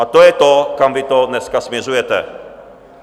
A to je to, kam vy to dneska směřujete.